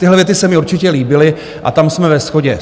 Tyhle věty se mi určitě líbily a tam jsme ve shodě.